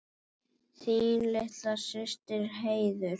Þín litla systir, Heiður.